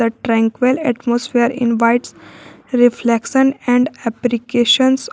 a triangle atmosphere invites reflection and applications.